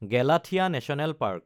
Galathea national park